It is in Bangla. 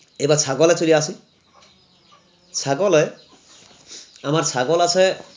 এবার ছাগলে চলে আসি ছাগলে আমার ছাগল আছে